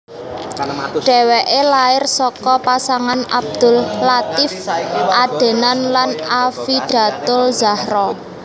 Dheweke lair saka pasangan Abdul Latief Adenan lan Affidatuzzahro